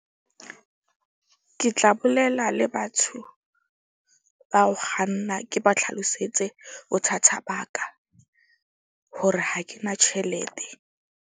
Ke tla bolela le batho ba ho kganna ke ba tlhalosetse bothata baka. Hore ha ke na tjhelete.